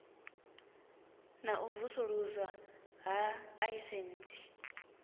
na u vusuluswa ha aisentsi